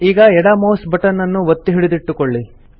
ಈಗ ಎಡ mouse button ಅನ್ನು ಒತ್ತಿ ಹಿಡಿದಿಟ್ಟುಕೊಳ್ಳಿ